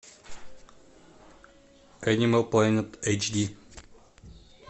энимал плэнет эйч ди